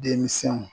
Denmisɛnw